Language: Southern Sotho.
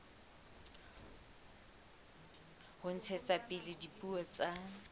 ho ntshetsa pele dipuo tsa